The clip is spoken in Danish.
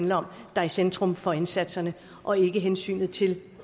der er i centrum for indsatserne og ikke hensynet til